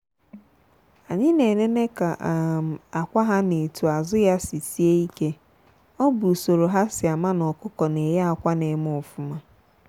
anyị na enene ka um akwa ha na etu azụ ya sị sie ike ọ bu usoro ha si ama na ọkụkọ n'eye akwa n'eme ofụma.